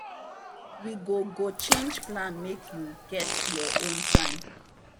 we go go change plan make you get your own time.